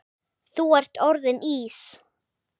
Þú ert orðinn Ís